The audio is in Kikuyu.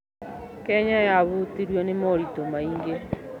Kenya yahutirio nĩ moritũ maingĩ.